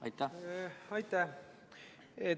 Aitäh!